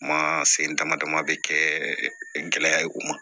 Kuma sen damadaman bɛ kɛ gɛlɛya ye u ma